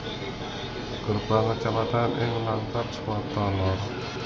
Gebang kecamatan ing Langkat Sumatera Lor